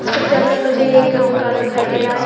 इस पिक्चर में मुझे एक मकान दिखाई दे रहा है।